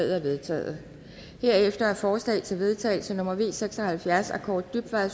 er vedtaget herefter er forslag til vedtagelse nummer v seks og halvfjerds af kaare dybvad